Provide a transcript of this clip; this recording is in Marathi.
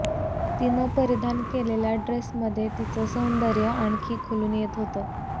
तिनं परिधान केलेल्या ड्रेसमध्ये तिचं सौदर्य आणखी खुलून येत होतं